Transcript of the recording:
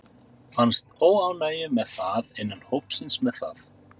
Fannstu óánægju með það innan hópsins með það?